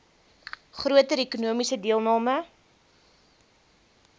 groter ekonomiese deelname